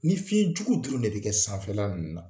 Ni fiɲɛjugu dɔrɔn ne bi kɛ sanfɛla ninnu na